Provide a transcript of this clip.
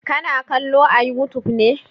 Ka na kallo a youtube ne?